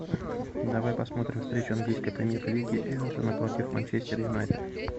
давай посмотрим встречу английской премьер лиги эвертона против манчестер юнайтед